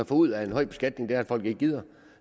får ud af en høj beskatning er at folk ikke gider